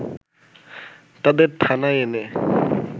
তাদের থানায় এনে